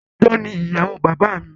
Adájọ́ ni ìyàwó bàbá mi